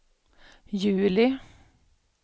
juli